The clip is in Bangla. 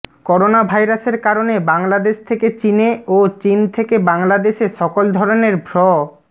করোনাভাইরাসের কারণে বাংলাদেশ থেকে চীনে ও চীন থেকে বাংলাদেশে সকল ধরনের ভ্র